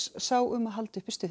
sá um að halda uppi stuðinu